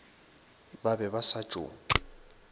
ba be ba sa tšo